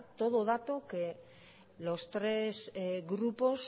todo dato que los tres grupos